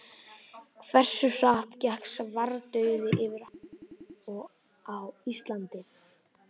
Hversu hratt gekk svartidauði yfir í heiminum og á Íslandi?